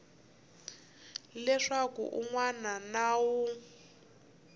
leswaku un wana na un